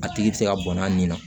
A tigi bɛ se ka bɔn a nin na